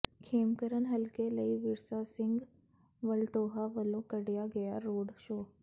ਖੇਮਕਰਨ ਹਲਕੇ ਲਈ ਵਿਰਸਾ ਸਿੰਘ ਵਲਟੋਹਾ ਵਲੋ ਕੱਢਿਆ ਗਿਆ ਰੋਡ ਸ਼ੋਅ